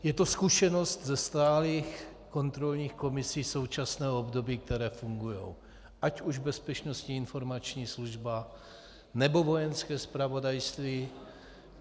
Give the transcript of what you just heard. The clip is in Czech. Je to zkušenost ze stálých kontrolních komisí současného období, které fungují, ať už Bezpečnostní informační služba, nebo Vojenské zpravodajství.